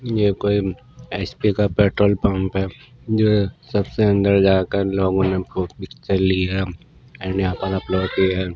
ये कोई एच_पी_ का पेट्रोल पंप है जो सबसे अंदर जाकर लोगों ने व् पिक्चर ली है एंड यहाँ पर अपलोड कि है।